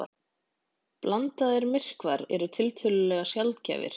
Blandaðir myrkvar eru tiltölulega sjaldgæfir.